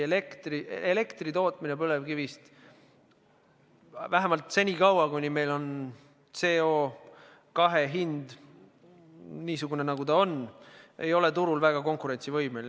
Elektri tootmine põlevkivist, vähemalt senikaua, kui meil on CO2 hind niisugune, nagu ta on, ei ole turul väga konkurentsivõimeline.